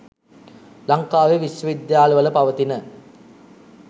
ලංකාවේ විශ්ව විද්‍යාල වල පවතින